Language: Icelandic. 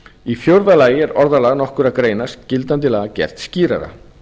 í fjórða lagi er orðalag nokkurra greina gildandi laga gert skýrara